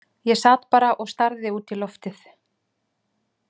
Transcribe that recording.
Ég sat bara og starði út í loftið.